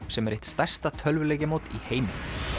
sem er eitt stærsta tölvuleikjamót í heimi